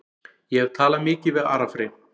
Ég hef talað mikið við Ara Frey.